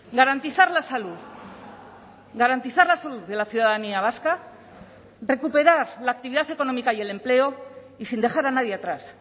garantizar la salud garantizar la salud de la ciudadanía vasca recuperar la actividad económica y el empleo y sin dejar a nadie atrás